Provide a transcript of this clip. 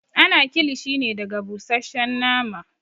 Ana kilishi ne daga busasshen nama